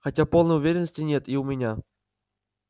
хотя полной уверенности нет и у меня